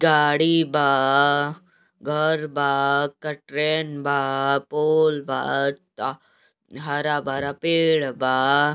गाड़ी बा घर बा कटरैन बा पोल बा ट हरा-भरा पेड़ बा।